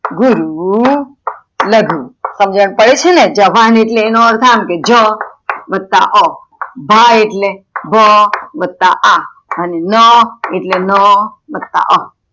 ગુરુ લઘુ સમજણ પડે છેને, જભાન એટલે એનો અર્થ આમ, જ વત્તા અ, ભા એટલે ભા વત્તા આ, અને ન એટલે ન વત્તા